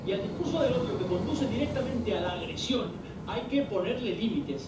Y al discurso del odio que conduce directamente a la agresión hay que ponerle límites.